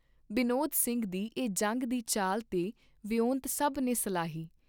ਬਿਨੋਦ ਸਿੰਘ ਦੀ ਇਹ ਜੰਗ ਦੀ ਚਾਲ ਤੇ ਵਿਉਂਤ ਸਭ ਨੇ ਸਲਾਹੀ।